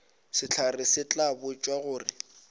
sehlare se tla botšwa gore